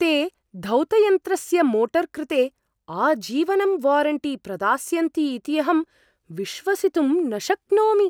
ते धौतयन्त्रस्य मोटर् कृते आजीवनं वारण्टी प्रदास्यन्ति इति अहं विश्वसितुं न शक्नोमि।